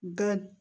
Bɛɛ